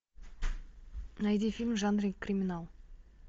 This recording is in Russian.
найди фильм в жанре криминал